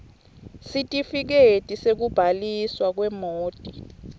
sitifiketi sekubhaliswa kwemoti